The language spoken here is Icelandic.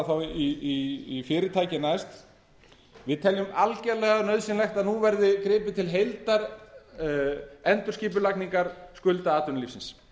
þá í fyrirtækin næst við teljum algjörlega nauðsynlegt að nú verði gripið til heildarendurskipulagningar skulda atvinnulífsins